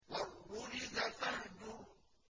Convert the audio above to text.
وَالرُّجْزَ فَاهْجُرْ